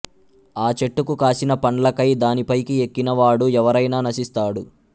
ఆ చెట్టుకు కాసిన పండ్లకై దాని పైకి ఎక్కిన వాడు ఎవరైనా నశిస్తాడు